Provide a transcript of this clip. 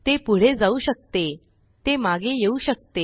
ते पुढे जाऊ शकतेते मागे येऊ शकते